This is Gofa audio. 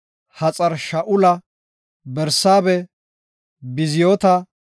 Haxar-Shu7aala, Barsaabeh, Biziyoota,